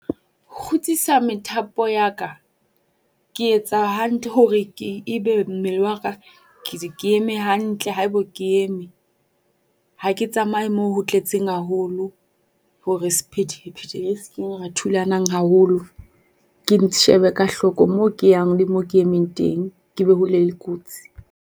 Kgutsisa methapo ya ka, ke etsa hantle hore ke e be mmele wa ka ke eme hantle haeba ke eme. Ha ke tsamaye mo ho tletseng haholo hore sephethephethe re se ke ra thulanang haholo. Ke shebe ka hloko mo ke yang le moo ke emeng teng. Ke be hole le kotsi.